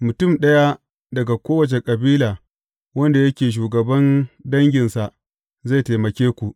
Mutum ɗaya daga kowace kabila wanda yake shugaban danginsa, zai taimake ku.